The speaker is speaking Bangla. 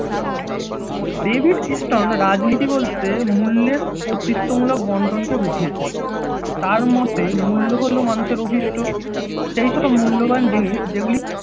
ডেভিড স্টোন রাজনীতি বলতে মূল্যের কর্তৃত্ব মূলক বণ্টনকে বুঝিয়েছেন। তার মতে মূল্য হল মানুষের অভিষ্ঠ সেইসব মূল্যবান জিনিস যেগুলি